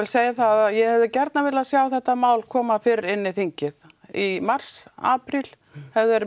segja að ég hefði gjarnan vilja sjá þetta mál koma fyrr inn á þingið í mars apríl hefði verið